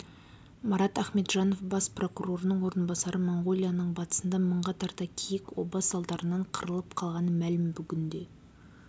марат ахметжанов бас прокурорының орынбасары моңғолияның батысында мыңға тарта киік оба салдарынан қырылып қалғаны мәлім бүгінде